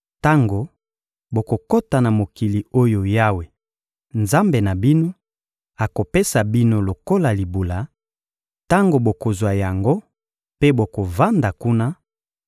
Tango bokokota na mokili oyo Yawe, Nzambe na bino, akopesa bino lokola libula, tango bokozwa yango mpe bokovanda kuna,